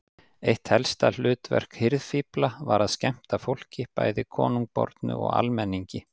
Eitt helsta hlutverk hirðfífla var að skemmta fólki, bæði konungbornu og almenningi.